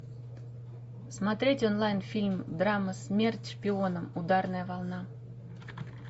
смотреть онлайн фильм драма смерть шпионам ударная волна